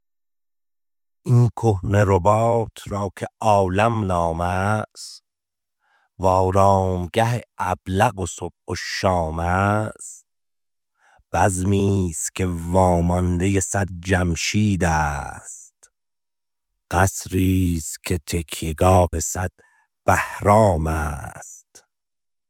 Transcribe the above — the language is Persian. این کهنه رباط را که عالم نام است و آرامگه ابلق صبح و شام است بزمی ست که واماندۀ صد جمشید است قصری ست که تکیه گاه صد بهرام است